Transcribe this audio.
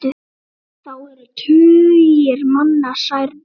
Þá eru tugir manna særðir.